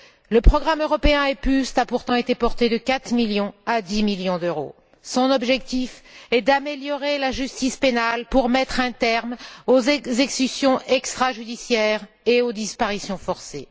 Le programme européen EPJUST a pourtant été porté de 4 millions à 10 millions d'euros. Son objectif est d'améliorer la justice pénale pour mettre un terme aux exécutions extrajudiciaires et aux disparitions forcées.